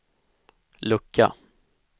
lucka